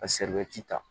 Ka ta